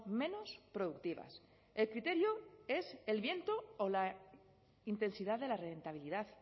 menos productivas el criterio es el viento o la intensidad de la rentabilidad